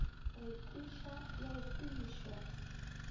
re kweša le go kwešwa